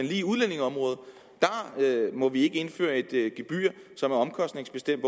lige udlændingeområdet må vi ikke indføre et gebyr som er omkostningsbestemt